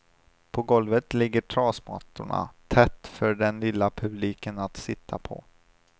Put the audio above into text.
På golvet ligger trasmattorna tätt för den lilla publiken att sitta på.